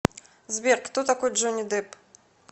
сбер кто такой джонни депп